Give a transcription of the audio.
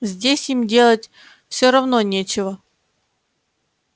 здесь им делать всё равно нечего